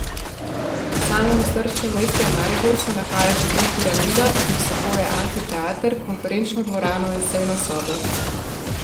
V samem osrčju mesta Maribor se nahaja hotel Piramida, ki vsebuje amfiteater, konferenčno dvorano in sejno sobo.